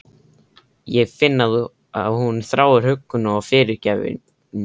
Ég finn að hún þráir huggun og fyrirgefningu.